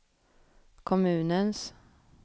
kommunens